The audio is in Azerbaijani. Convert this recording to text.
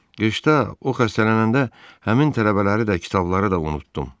Qışda o xəstələnəndə həmin tələbələri də kitabları da unutdum.